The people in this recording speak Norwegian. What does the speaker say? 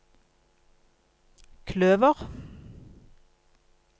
kløver